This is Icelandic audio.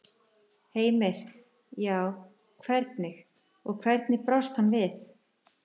Heimir: Já, hvernig, og hvernig brást hann við?